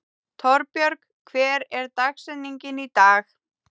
Torbjörg, hver er dagsetningin í dag?